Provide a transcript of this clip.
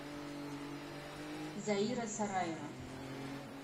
заира сараева